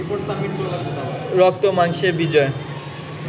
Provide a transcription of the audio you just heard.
রক্তমাংসের বিজয়